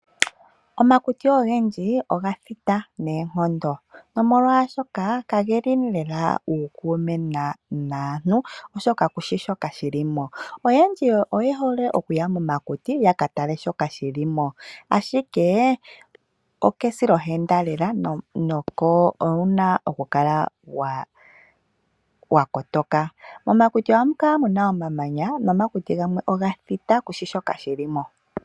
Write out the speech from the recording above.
Omakuti ogendji oga thita noonkondo omolwashoka kageli lela uukume naantu oshoka kushi shoka shilimo. Oyendji oye hole okuya momakuti yakatale shoka shilimo ashike okesilohenda lela owuna oku kala wakotoka. Ohamu kala muna omamanya nomakuti gamwe oga thita kushi shoka shilimo.